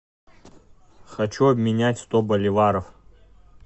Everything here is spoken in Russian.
хочу обменять сто боливаров